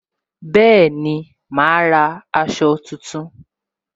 Bẹẹni, ma ra aṣọ tuntun